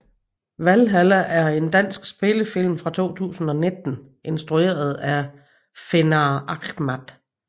Valhalla er en dansk spillefilm fra 2019 instrueret af Fenar Ahmad